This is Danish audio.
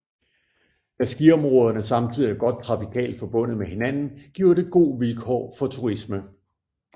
Da skiområderne samtidig er godt trafikalt forbundet med hinanden giver det god vilkår for turisme